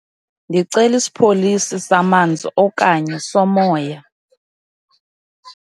Ndicela isipholisi samanzi okanye somoya.